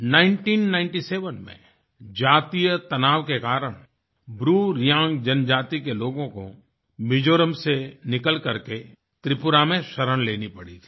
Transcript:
1997 में जातीय तनाव के कारण BruReangजनजाति के लोगों को मिज़ोरम से निकल करके त्रिपुरा में शरण लेनी पड़ी थी